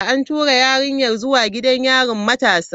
An tura yarinyar zuwa gidan yarin matasa.